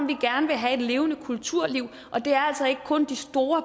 vi gerne vil have et levende kulturliv og det er altså ikke kun de store